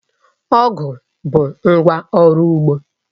Ọ̀gu bụ ngwá ọrụ ugbo